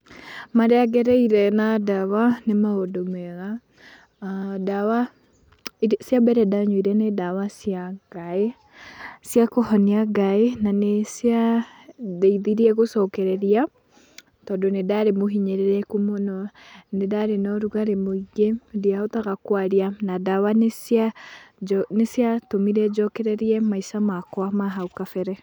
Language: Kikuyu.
Marĩa ngereire na ndawa, nĩ maũndũ mega, ndawa cia mbere ndanyuire nĩ ndawa cia ngaĩ, ciakũhonia ngaĩ, na nĩciandeithirie gũcokereria, tondũ nĩ ndarĩ mũhinyĩrĩrĩku mũno, nĩ ndarĩ na ũrugarĩ mũingĩ, ndiahotaga kwaria, na ndawa nĩciatũmire njokererie maica makwa ma hau gabere.